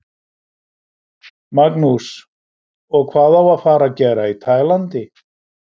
Magnús: Og hvað á að fara að gera í Tælandi?